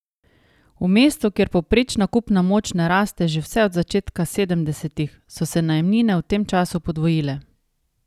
V mestu, kjer povprečna kupna moč ne raste že vse od začetka sedemdesetih, so se najemnine v tem času podvojile.